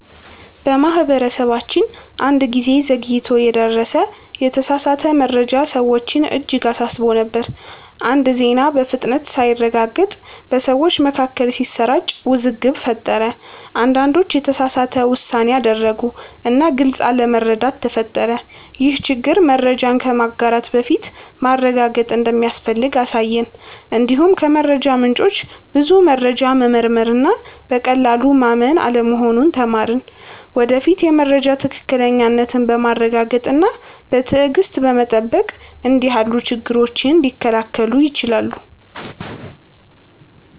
በማህበረሰባችን አንድ ጊዜ ዘግይቶ የደረሰ የተሳሳተ መረጃ ሰዎችን እጅግ አሳስቦ ነበር። አንድ ዜና በፍጥነት ሳይረጋገጥ በሰዎች መካከል ሲሰራጭ ውዝግብ ፈጠረ። አንዳንዶች የተሳሳተ ውሳኔ አደረጉ እና ግልጽ አለመረዳት ተፈጠረ። ይህ ችግር መረጃን ከማጋራት በፊት ማረጋገጥ እንደሚያስፈልግ አሳየን። እንዲሁም ከመረጃ ምንጮች ብዙ መረጃ መመርመር እና በቀላሉ ማመን አለመሆኑን ተማርን። ወደፊት የመረጃ ትክክለኛነትን በማረጋገጥ እና በትዕግሥት በመጠበቅ እንዲህ ያሉ ችግሮች ሊከላከሉ ይችላሉ።